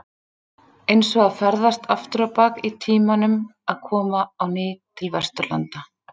Eins og að ferðast aftur á bak í tímanum að koma á ný til Vesturlanda.